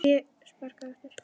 Sparkað aftur.